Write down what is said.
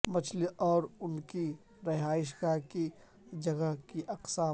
مچھلی اور ان کے رہائش گاہ کی جگہ کی اقسام